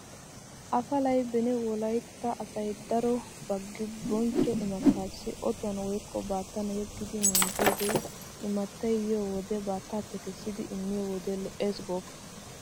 Afalay beni wolaytta asay daro baggibonchcho imattaassi Otuwan woykko baattan yeggidi minjjidoogee imattay yiyo wode baattaappe kessidi immiyo wode lo'eesi gooppa!